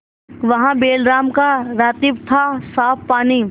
वहाँ बैलराम का रातिब थासाफ पानी